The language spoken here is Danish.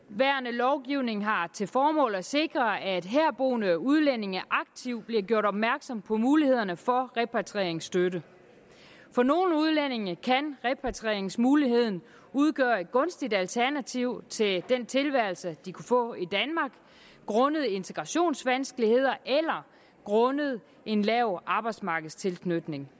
lovgivning har til formål at sikre at herboende udlændinge aktivt bliver gjort opmærksom på mulighederne for repatrieringsstøtte for nogle udlændinge kan repatrieringsmuligheden udgøre et gunstigt alternativ til den tilværelse de kan få i danmark grundet integrationsvanskeligheder eller grundet en lav arbejdsmarkedstilknytning